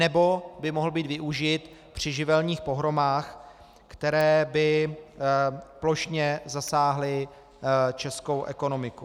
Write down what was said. Nebo by mohl být využit při živelních pohromách, které by plošně zasáhly českou ekonomiku.